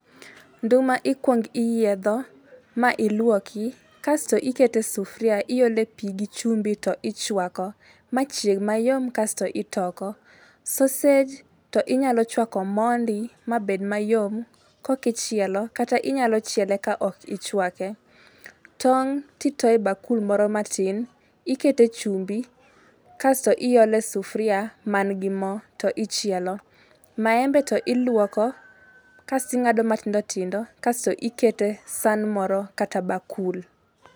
Nduma ikuong iyiedho, ma iluoki, kasto iketo e sufuria iole pii gi chumbi, to ichwako ma chieg mayom kasto itoko. Saussage to inyalo chwako mondi ma bed mayom kokichielo kata inyalo chiele ka ok ichwake. Tong' to itoyo e bakul moro matin, ikete chumbi kasto iole sufuria man gi moo to ichielo. Maembe to iluoko kasto ing'ado matindo tindo kasto ikete san moro kata bakul.